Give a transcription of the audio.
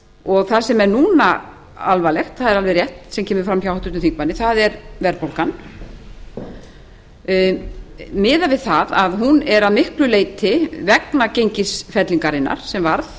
og það sem er núna alvarlegt það er alveg rétt sem kemur fram hjá háttvirtum þingmanni það er verðbólgan miðað við það að hún er að miklu leyti vegna gengisfellingarinnar sem var